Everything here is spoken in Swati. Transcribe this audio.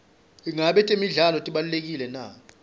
ingabe temidlalo tibalulekile na